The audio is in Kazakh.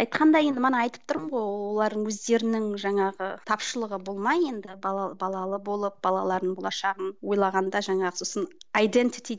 айқанда енді мана айтып тұрмын ғой олардың өздерінің жаңағы тапшылығы болмай енді бала балалы болып балалардың болашағын ойлағанда жаңағы сосын